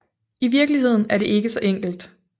I virkeligheden er det ikke så enkelt